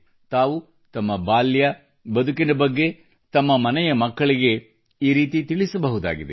ತಾವು ತಮ್ಮ ಬಾಲ್ಯ ಬದುಕಿನ ಬಗ್ಗೆ ತಮ್ಮ ಮನೆಯ ಮಕ್ಕಳಿಗೆ ಈ ರೀತಿ ತಿಳಿಸಬಹುದಾಗಿದೆ